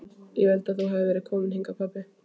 Ég vildi að þú hefðir verið kominn hingað pabbi.